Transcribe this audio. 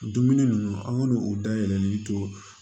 Dumuni ninnu an k'u dayɛlɛlen to